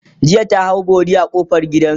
jiya ta hau bori a kofan gidansu